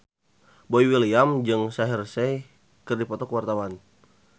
Boy William jeung Shaheer Sheikh keur dipoto ku wartawan